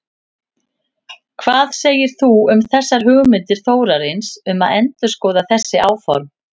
Hvað segir þú um þessar hugmyndir Þórarins um að endurskoða þessi áform?